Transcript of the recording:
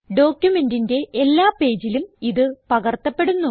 ഡോക്യുമെന്റിന്റെ എല്ലാ പേജിലും ഇത് പകർത്തപ്പെടുന്നു